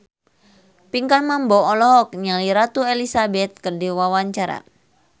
Pinkan Mambo olohok ningali Ratu Elizabeth keur diwawancara